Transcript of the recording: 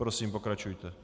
Prosím, pokračujte.